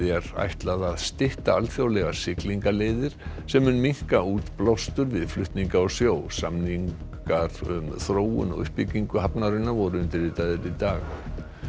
er ætlað að stytta alþjóðlegar siglingaleiðir sem mun minnka útblástur við flutninga á sjó samningar um þróun og uppbyggingu hafnarinnar voru undirritaðir í dag